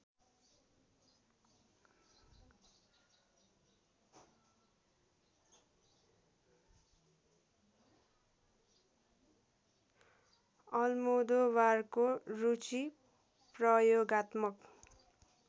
अल्मोदोबारको रुचि प्रयोगात्मक